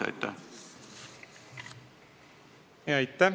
Aitäh!